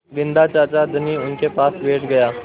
बिन्दा चाचा धनी उनके पास बैठ गया